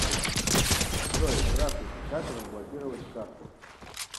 джой здравствуйте как разблокировать карту